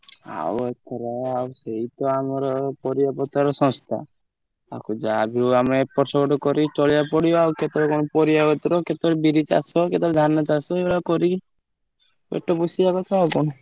ଆଉ ଏ ଥର ଆଉ ସେଇ ତ ଆମର ପରିବାପତ୍ର ଶସ୍ତା। ଆକୁ ଯାହାବି ହଉ ଆମେ ଏପଟ ସେପଟ କରି ଚଳିଆକୁ ପଡିବ ଆଉ କେତବେଳେ କଣ ପରିବାପତ୍ର, କେତବେଳେ ବିରି ଚାଷ, କେତବେଳେ ଧାନ ଚାଷ ଏଇଭଳିଆ କରି ପେଟ ପୋଷିବା କଥା ଆଉ କଣ।